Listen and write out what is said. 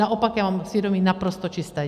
Naopak já mám svědomí naprosto čisté.